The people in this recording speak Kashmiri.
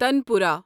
تانپورا